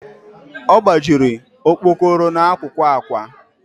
ọ gbajiri okpokoro n'akụkụ ákwà